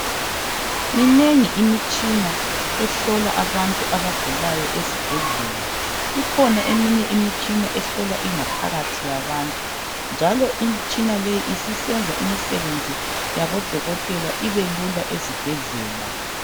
Minengi imitshina ehlola abantu abagulayo ezibhedlela ikhona eminye imitshina ehlola ingaphakathi yabantu njalo imitshina leyi isisenza imisebenzi yabodokotela ibelula ezibhedlela.